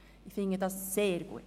Ich finde dies sehr gut.